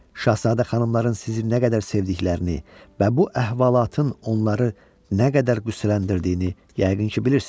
Şahzadə xanımların sizin nə qədər sevdiklərini və bu əhvalatın onları nə qədər qüssələndirdiyini yəqin ki, bilirsiz.